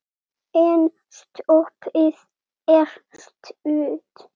En stoppið er stutt.